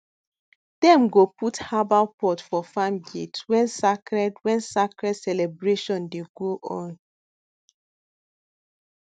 dem go put herbal pot for farm gate when sacred when sacred celebration dey go on